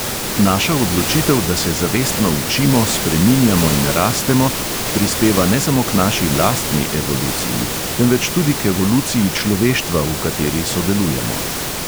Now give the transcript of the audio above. Naša odločitev, da se zavestno učimo, spreminjamo in rastemo, prispeva ne samo k naši lastni evoluciji, temveč tudi k evoluciji človeštva, v kateri sodelujemo.